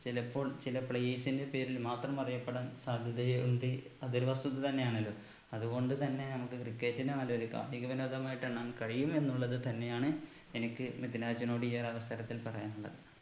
ചിലപ്പോൾ ചില players ന്റെ പേരിൽ മാത്രമറിയപ്പെടാൻ സാധ്യതയുണ്ട് അതൊരു വസ്തുത തന്നെയാണല്ലോ അത് കൊണ്ട് തന്നെ നമുക്ക് cricket നെ നെല്ലോല് കായിക വിനോദമായിട്ടാണ് നാം കഴിയും എന്നുള്ളത് തന്നെയാണ് എനിക്ക് മിദ്‌ലാജിനോട് ഈ ഒരു അവസരത്തിൽ പറയാനുള്ളത്